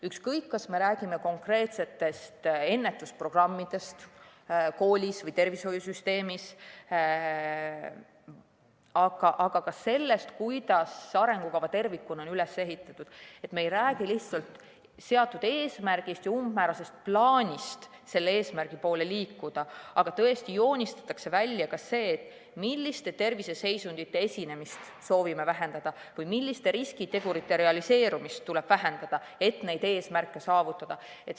Ükskõik kas me räägime konkreetsetest ennetusprogrammidest koolis või tervishoiusüsteemis või ka sellest, kuidas arengukava tervikuna on üles ehitatud, me ei räägi lihtsalt seatud eesmärgist ja umbmäärasest plaanist selle eesmärgi poole liikuda, vaid tõesti joonistatakse välja ka see, milliste terviseseisundite esinemist soovime vähendada või milliste riskitegurite realiseerumist tuleb vähendada, et neid eesmärke saavutada.